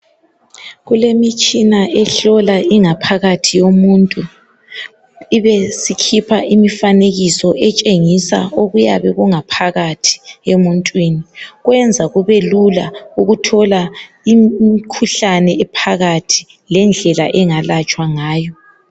Kulemitshina ehlola ingaphakathi yomuntu, ibesikhipha imifanekiso etshengisa okuyabe kungaphakathi emuntwini, kwenza kube lula ukuthola imkhuhlane ephakathi lendlela engalatshwa ngayo.